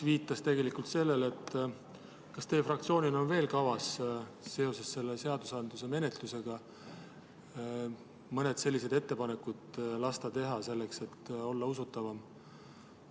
Kas teie fraktsioonil on kavas seoses selle seaduseelnõu menetlusega veel mõned sellised ettepanekud lasta teha, selleks et olla usutavam?